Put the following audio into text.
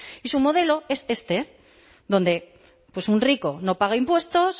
y su modelo es este donde un rico no paga impuestos